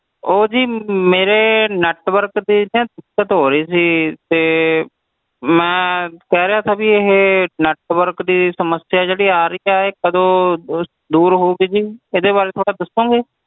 ਊ ਜੀ ਮੇਰੇ network ਵਿਚ ਨਾ ਦਿੱਕਤ ਹੋ ਰਹੀ ਸੀ ਮੈਂ ਕਹਿ ਰਿਹਾ ਸੀ ਜੀ ਕਿ ਇਹ ਜਿਹੜੀ network ਦੀ ਦਿੱਕਤ ਆ ਰਹੀ ਏ ਇਹ ਕਦੋਂ ਤਕ ਦੂਰ ਹੋਏਗੀ ਥੋੜ੍ਹਾ ਦੇਖੋਂਗੇ